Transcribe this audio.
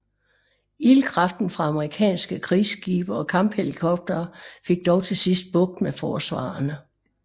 Ildkraften fra amerikanske krigsskibe og kamphelikoptere fik dog til sidst bugt med forsvarerne